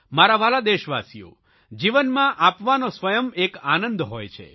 મારા વ્હાલા દેશવાસીઓ જીવનમાં આપવાનો સ્વયં એક આનંદ હોય છે